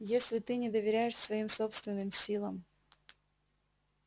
если ты не доверяешь своим собственным силам